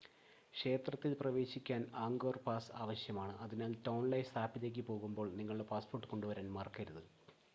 ക്ഷേത്രത്തിൽ പ്രവേശിക്കാൻ Angkor pass ആവശ്യമാണ് അതിനാൽ ടോൺലെ സാപ്പിലേക്ക് പോകുമ്പോൾ നിങ്ങളുടെ പാസ്‌പോർട്ട് കൊണ്ടുവരാൻ മറക്കരുത്